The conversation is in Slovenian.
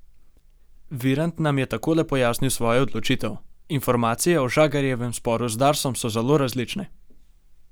Virant nam je takole pojasnil svojo odločitev: "Informacije o Žagarjevem sporu z Darsom so zelo različne.